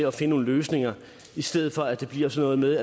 at finde nogle løsninger i stedet for at det bliver sådan noget